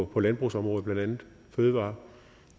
på landbrugsområdet blandt andet fødevarer og